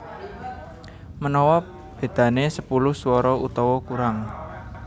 Manawa bedané sepuluh swara utawa kurang